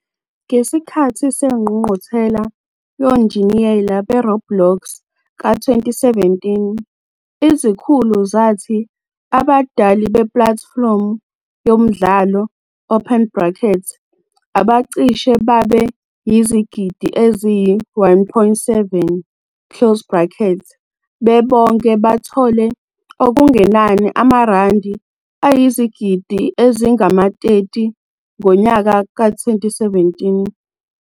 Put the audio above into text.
Ngesikhathi seNgqungquthela Yonjiniyela beRoblox ka-2017, izikhulu zathi abadali epulatifomu yomdlalo, open brackets, abacishe babe yizigidi eziyi-1.7, close brackets, bebonke bathole okungenani amaRandi ayizigidi ezingama-30 ngonyaka we-2017.